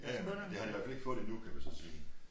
Ja ja men det har de i hvert fald ikke fået endnu kan man så sige